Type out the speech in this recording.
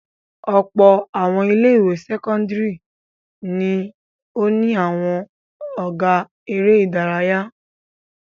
Ọ̀pọ̀ àwọn ilé-ìwé sẹ́kọ́ndárì ni ó ní àwọn ọ̀gá eré-idárayá.